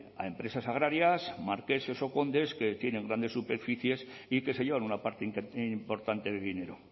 a empresas agrarias marqueses o condes que tienen grandes superficies y que se llevan una parte importante de dinero